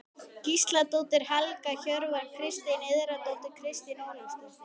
Gísladóttir, Helga Hjörvar, Kristín Indriðadóttir, Kristín Ólafsdóttir